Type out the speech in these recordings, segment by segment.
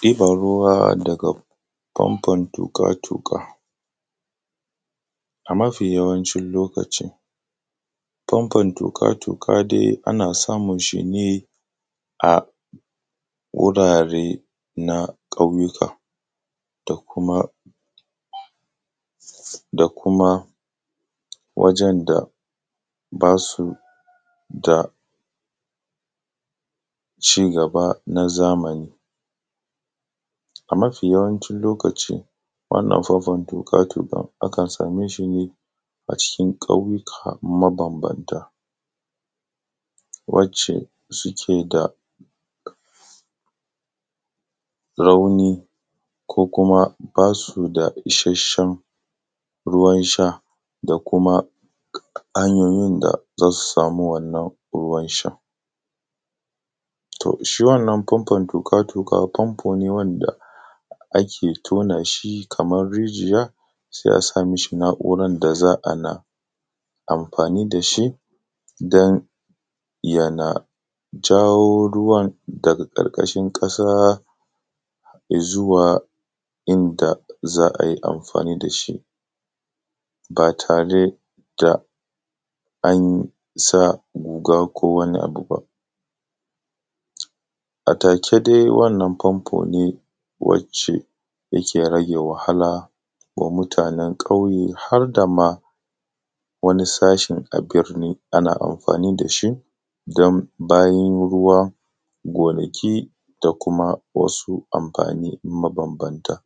Ɗiban ruwa daga famfon tuƙa tuƙa a mafi yawancin lokaci famfon tuƙa tuƙa dai ana samun shi ne a wurare na ƙauyuka da kuma da kuma wajen da basu da cigaba na zamani, a mafi yawancin lokaci wannan famfon tuƙa tuƙa akan same sune a cikin ƙauyuka mabambanta wacce suke da rauni ko kuma basu da isheshshen ruwan sha da kuma hanyoyin da zasu samu wannan ruwan shan, to shi wannan famfon tuƙa tuƙa famfo ne wanda ake tona shi kaman rijiya sai a sa mishi na`uran da za a na amfani da shi dan yana jawo ruwan daga ƙarƙashin ƙasa izawa inda za ayi amfani da shi ba tare da ansa guga ko wani abu ba a take dai wannan famfo ne wacce yake rage wahala wa mutanen ƙauye har da ma wani sashin a birni ana amfani da shi dan bayin ruwa, gonaki da kuma wasu amfani mabambanta,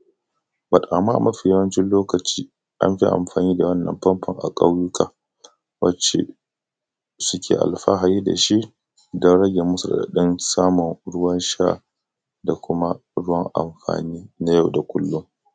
“but” amma mafi yawancin lokaci an fi amfani da wannan famfon a ƙauyuka wacce suke alfahari da shi dan rage musu raɗaɗin samun ruwan sha da kuma ruwan amfani na nay au kullun.